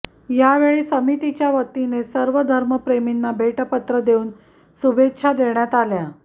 या वेळी समितीच्या वतीने सर्व धर्मप्रेमींना भेटपत्र देऊन शुभेच्छा देण्यात आल्या